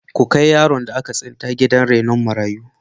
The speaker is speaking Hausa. Ku kai yaron da aka tsinta gidan rainon marayu.